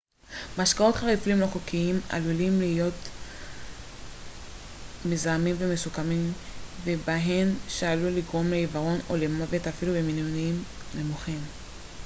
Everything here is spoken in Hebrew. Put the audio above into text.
משקאות חריפים לא חוקיים עלולים להכיל חומרים מזהמים מסוכנים ובהם מתנול שעלול לגרום לעיוורון או למוות אפילו במינונים נמוכים